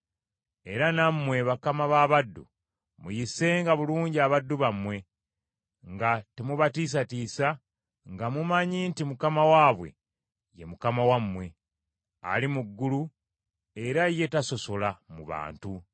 Era nammwe bakama b’abaddu, muyisenga bulungi abaddu bammwe nga temubatiisatiisa, nga mumanyi nti Mukama waabwe, ye Mukama wammwe, ali mu ggulu era ye tasosola mu bantu.